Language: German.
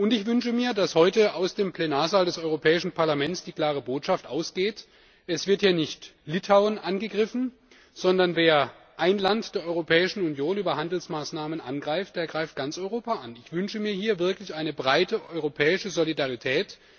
Ich wünsche mir, dass heute aus dem Plenarsaal des Europäischen Parlaments die klare Botschaft ausgeht Es wird hier nicht Litauen angegriffen, sondern wer ein Land der Europäischen Union über Handelsmaßnahmen angreift, der greift ganz Europa an. Ich wünsche mir hier wirklich eine breite europäische Solidarität.